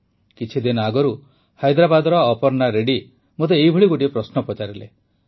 କିଛିଦିନ ଆଗରୁ ହାଇଦ୍ରାବାଦର ଅପର୍ଣା ରେଡ୍ଡି ମୋତେ ଏହିଭଳି ଗୋଟିଏ ପ୍ରଶ୍ନ ପଚାରିଲେ